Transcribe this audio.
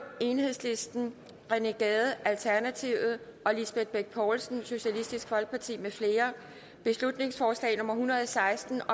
rené gade og lisbeth bech poulsen mfl beslutningsforslag nummer hundrede og seksten